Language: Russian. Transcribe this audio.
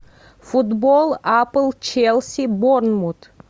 футбол апл челси борнмут